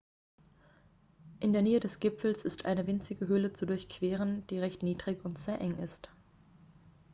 in der nähe des gipfels ist eine winzige höhle zu durchqueren die recht niedrig und sehr eng ist